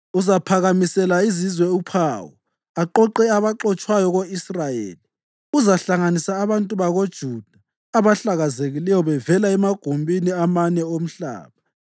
Uzaphakamisela izizwe uphawu aqoqe abaxotshwayo ko-Israyeli. Uzahlanganisa abantu bakoJuda abahlakazekileyo bevela emagumbini amane omhlaba.